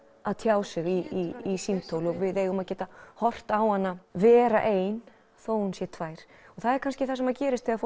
að tjá sig í símtól og við eigum að geta horft á hana vera ein þótt hún sé tvær það kannski gerist þegar